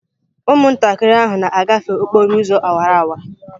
Ụmụntakịrị ahụ na-agafe okporo ụzọ awara awara.